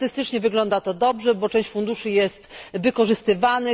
Statystycznie wygląda to dobrze, bo część funduszy jest wykorzystywana.